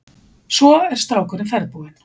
Svo er strákurinn ferðbúinn.